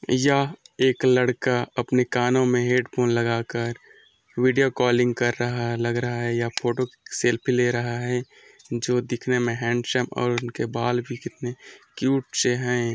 यह एक लड़का अपने कानो में हैडफ़ोन लगाकर विडिओ कालिंग कर रहा है लग रहा है या फोटो सेल्फी ले रहा है जो दिखने में हैडसम और उनके बाल भी कितने क्यूट से है।